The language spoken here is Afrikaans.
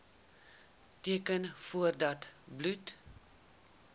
teken voordat bloed